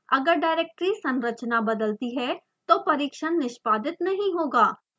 अगर डायरेक्टरी संरचना बदलती है तो परिक्षण निष्पादित नहीं होगा